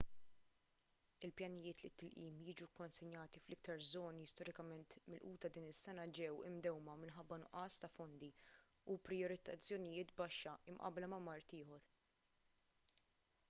il-pjanijiet li t-tilqim jiġu kkonsenjati fl-iktar żoni storikament milquta din is-sena ġew imdewwma minħabba nuqqas ta' fondi u prijoritizzazzjoni baxxa mqabbla ma' mard ieħor